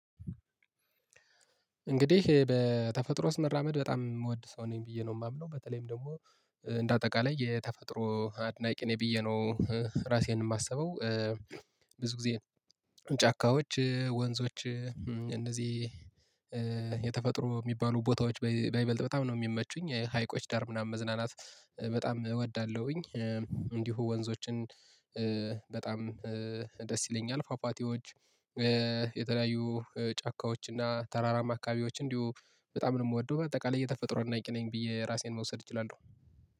እንግዲህ በተፈጥሮ ውስጥ መራመድ በጣም የምወድ ሰው ነኝ ብዬ ነው የማምነው በተለይም ደግሞ እንደ አጠቃላይ የተፈጥሮ አድናቂ ነኝ ብዬ ነው። ራሴን የማስበው። ብዙ ጊዜ ጫካዎች ወንዞች እንደዚህ የተፈጥሮ የሚባሉ ቦታዎች በይበልጥ በጣም ነው የሚመቹኝ ሀይቆች ዳር ምናምን መዝናናት በጣም እወዳለሁኝ። እንዲሁ ወንዞችን በጣም ደስ ይለኛል ፏፏቴዎች። የተለያዩ ጫካዎች እና ተራራ አካባቢዎች እንዲሁ በጣም ነው የምወደው። በጠቃላይ እየተፈጥሮ አድናቂ ነኝ ብዬ ራሴን መውሰድ እችላለሁ